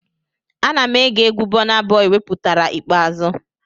Ana m ege egwu Bọna Bọi wepụtara ikpeazụ